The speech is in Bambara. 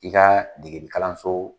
I ka degeli kalanso